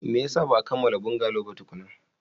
Me yasa ba a kammala bungalow ba tukuna?